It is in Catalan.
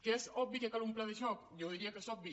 que és obvi que cal un pla de xoc jo diria que és obvi